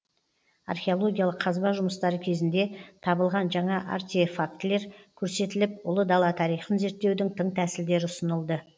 археологиялық қазба жұмыстары кезінде табылған жаңа артефактілер көрсетіліп ұлы дала тарихын зерттеудің тың тәсілдері ұсынылды